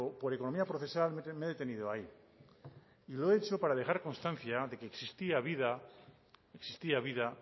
por economía procesal me he detenido ahí y lo he hecho para dejar constancia de que existía vida